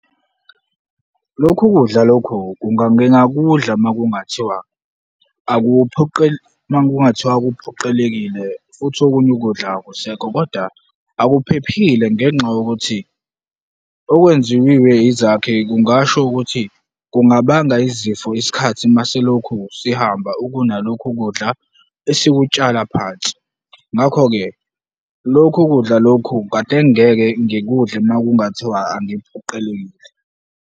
Lokhu kudla lokhu ngingakudla uma kungathiwa, uma kungathiwa kuphoqelekile futhi okunye ukudla akusekho kodwa akuphephile ngenxa yokuthi okwenziwiwe izakhe kungasho ukuthi kungabanga izifo isikhathi masilokhu sihamba, ukunalokhu kudla esikutshala phansi. Ngakho-ke, lokhu kudla lokhu kade ngingeke ngikudle ma kungathiwa angiphoqelekile.